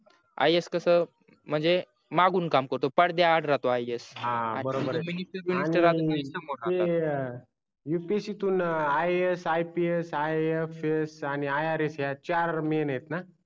ias कस म्हणजे मागून काम करतो पडध्याआड राहतो ias हा बरोबर आहे आणि ते upsc तून iasipsifs आणि irs हे चार main आहेत ना